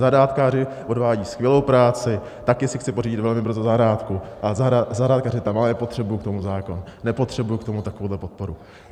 Zahrádkáři odvádí skvělou práci, taky si chci pořídit velmi brzy zahrádku a zahrádkařit tam, ale nepotřebuji k tomu zákon, nepotřebuji k tomu takovouhle podporu.